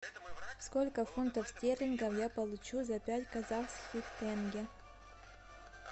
сколько фунтов стерлингов я получу за пять казахских тенге